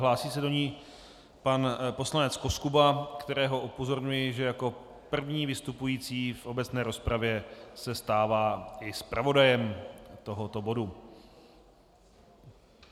Hlásí se do ní pan poslanec Koskuba, kterého upozorňuji, že jako první vystupující v obecné rozpravě se stává i zpravodajem tohoto bodu.